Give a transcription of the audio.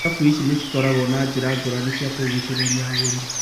Irabu ici nĩcikoragwo na njĩra ngũrani cia kũgucĩrĩria agũri.